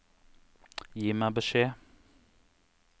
Gi meg beskjed